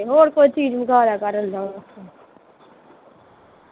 ਹੋਰ ਕੋਈ ਚੀਜ ਮੰਗਾ ਲਿਆ ਕਰ ਇੰਨਾ ਵਾਸਤੇ